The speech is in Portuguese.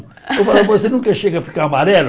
Eu falo, você nunca chega a ficar amarelo?